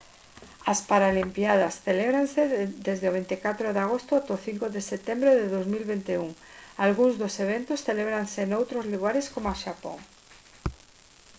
as paralimpíadas celebraranse desde o 24 de agosto ata o 5 de setembro de 2021 algúns dos eventos celebraranse noutros lugares do xapón